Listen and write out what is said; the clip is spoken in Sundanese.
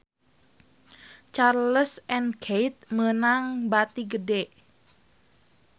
Charles & Keith meunang bati gede